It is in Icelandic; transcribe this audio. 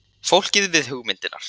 Fólkið við hugmyndirnar.